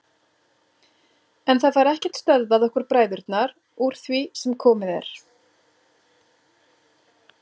En það fær ekkert stöðvað okkur bræðurna úr því sem komið er.